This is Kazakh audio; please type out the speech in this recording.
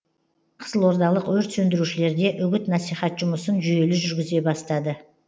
қызылордалық өрт сөндірушілерде үгіт насихат жұмысын жүйелі жүргізе бастады